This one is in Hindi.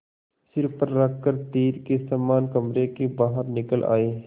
सिर पर रख कर तीर के समान कमरे के बाहर निकल आये